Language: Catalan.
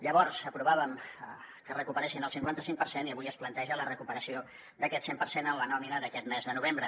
llavors aprovàvem que recuperessin el cinquanta cinc per cent i avui es planteja la recuperació d’aquest cent per cent en la nòmina d’aquest mes de novembre